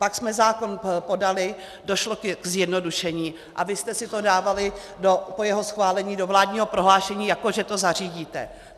Pak jsme zákon podali, došlo ke zjednodušení, a vy jste si to dávali po jeho schválení do vládního prohlášení, jako že to zařídíte.